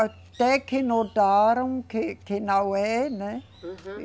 Até que notaram que, que não é, né? Uhum